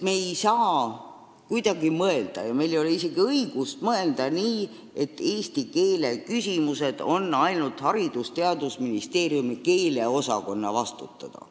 Me ei saa kuidagi mõelda ja meil ei ole isegi õigust mõelda, et eesti keele küsimused on ainult Haridus- ja Teadusministeeriumi keeleosakonna vastutada.